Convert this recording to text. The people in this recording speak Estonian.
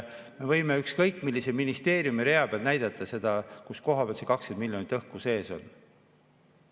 Me võime ükskõik millise ministeeriumi rea peal näidata, kus kohas see 20 miljonit õhku sees on.